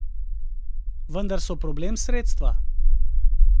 Vendar so problem sredstva.